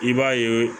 I b'a ye